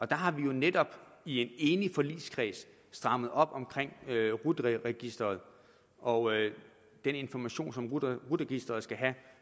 der har vi jo netop i en enig forligskreds strammet op om rut registeret og den information som rut registeret skal have